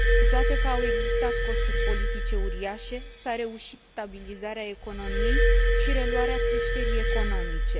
Cu toate că au existat costuri politice uriașe, s a reușit stabilizarea economiei și reluarea creșterii economice.